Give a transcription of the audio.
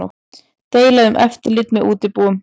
Deila um eftirlit með útibúum